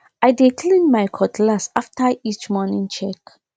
i dey clean my cutlass after each morning check